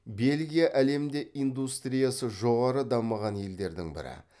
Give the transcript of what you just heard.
бельгия әлемде индустриясы жоғары дамыған елдердің бірі